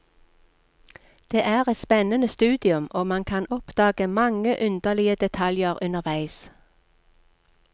Det er et spennende studium, og man kan oppdage mange underlige detaljer underveis.